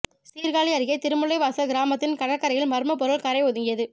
சீர்காழி அருகே திருமுல்லைவாசல் கிராமத்தின் கடற்கரையில் மர்ம பொருள் கரை ஒதுங்கியது